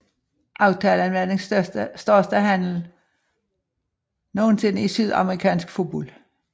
Aftalen var den største handle nogensinde i sydamerikansk fodbold